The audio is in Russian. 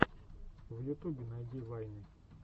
в ютубе найди вайны